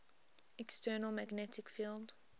external magnetic field